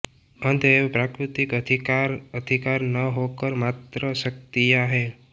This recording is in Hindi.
अतएव प्राकृतिक अधिकार अधिकार न होकर मात्र शक्तियाँ हैं